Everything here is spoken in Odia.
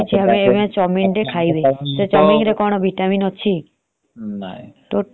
ଆମେ ଖାଇବା ବୋଲି ଖାଉଛେ ଗ୍ରହଣ କରୁଛେ ନିର୍ଗତ କରୁଛେ। ଆଉ ନହେଲେ କିଛି କଥା ନାହି